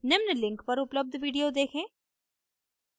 निम्न link पर उपलब्ध video देखें